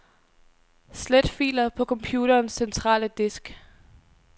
Slet filer på computerens centrale disk.